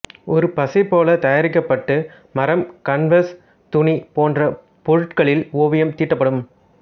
ஒரு பசைபோலத் தயாரிக்கப்பட்டு மரம் கன்வஸ் துணி போன்ற பொருட்களில் ஓவியம் தீட்டப்படும்